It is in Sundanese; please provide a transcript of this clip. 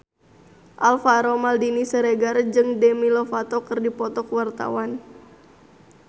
Alvaro Maldini Siregar jeung Demi Lovato keur dipoto ku wartawan